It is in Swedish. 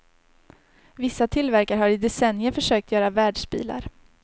Vissa tillverkare har i decennier försökt göra världsbilar.